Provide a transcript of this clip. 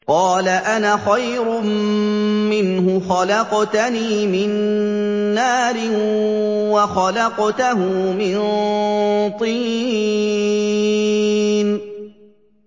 قَالَ أَنَا خَيْرٌ مِّنْهُ ۖ خَلَقْتَنِي مِن نَّارٍ وَخَلَقْتَهُ مِن طِينٍ